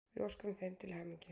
Við óskuðum þeim til hamingju.